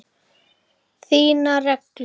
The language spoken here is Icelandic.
Þínar reglur?